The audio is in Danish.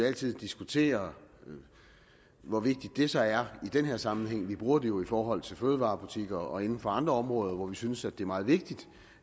altid diskutere hvor vigtigt det så er i den her sammenhæng vi bruger det jo i forhold til fødevarebutikker og inden for andre områder hvor vi synes det er meget vigtigt